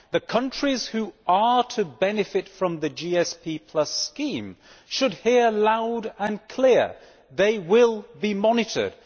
The countries which are to benefit from the GSP scheme should hear it loud and clear they will be monitored.